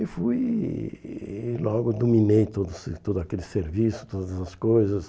E fui e e logo dominei todo ser todo aquele serviço, todas as coisas.